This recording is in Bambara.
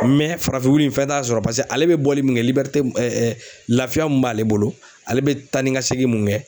farafin wulu in fɛn t'a sɔrɔ paseke ale bɛ bɔli min kɛ laafiya mun b'ale bolo ale bɛ taa ni ka segin mun kɛ